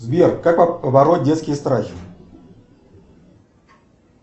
сбер как побороть детские страхи